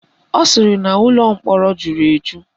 Ọ sịrị na ụlọ mkpọrọ jụrụ eju